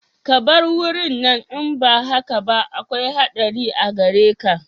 Ka bar wurin nan in ba haka ba akwai haɗari a gare ka